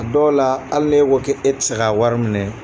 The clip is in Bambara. A dɔw la hali n'e ko ke e tɛ se ka a wari minɛ.